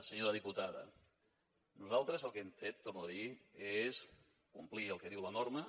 senyora diputada nosaltres el que hem fet ho torno a dir és complir el que diu la norma